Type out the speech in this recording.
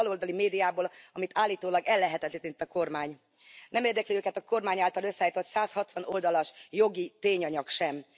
Abból a baloldali médiából, amit állítólag ellehetetlenített a kormány. Nem érdekli őket a kormány által összeállított 160 oldalas jogi tényanyag sem.